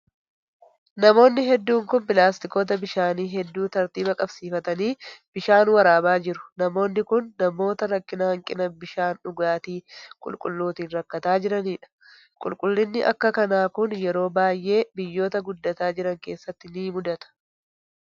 Namoonni hedduun kun pilaastikoota bishaanii hedduu tartiiba qabsiifatanii bishaan waraabaa jiru. Namoonni kun, namoota rakkina hanqina bishaan dhugaatii qulqulluutin rakkataa jiranii dha. Rakkinni akka kanaa kun, yeroo baay'ee biyyoota guddataa jiran keessatti ni muudata.